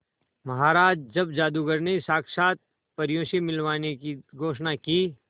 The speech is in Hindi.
महाराज जब जादूगर ने साक्षात परियों से मिलवाने की घोषणा की